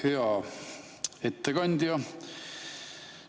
Hea ettekandja!